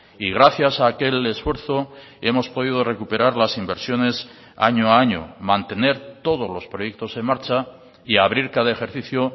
y gracias a aquel esfuerzo hemos podido recuperar las inversiones año a año mantener todos los proyectos en marcha y abrir cada ejercicio